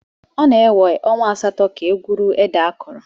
Ọ na-ewe ọnwa asatọ ka e gwuru ede akọrọ.